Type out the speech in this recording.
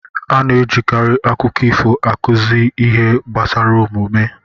A na-ejikarị akụkọ ifo akụzi ihe gbasara omume.